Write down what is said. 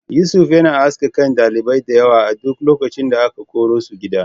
Yusuf yana aske kan ɗalibai diyawa a duk lokacin da aka korasu gida.